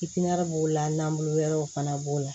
b'o la n'an bolo wɛrɛw fana b'o la